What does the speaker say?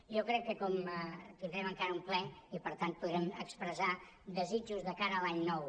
jo crec que com que tindrem encara un ple i per tant podrem expressar desitjos de cara a l’any nou